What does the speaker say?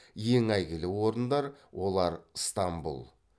ең әйгілі орындар олар стамбул